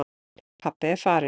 Pabbi er farinn.